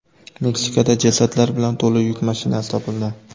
Meksikada jasadlar bilan to‘la yuk mashinasi topildi.